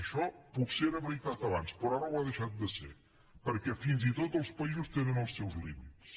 això potser era veritat abans però ara ho ha deixat de ser perquè fins i tot els països tenen els seus límits